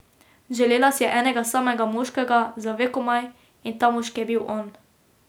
Želela si je enega samega moškega, za vekomaj, in ta moški je bil on.